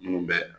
Minnu bɛ